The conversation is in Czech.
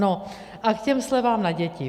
No a k těm slevám na děti.